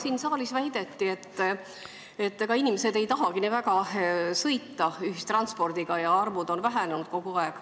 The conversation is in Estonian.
Siin saalis väideti, et inimesed ei tahagi nii väga sõita ühistranspordiga ja arvud on kogu aeg vähenenud.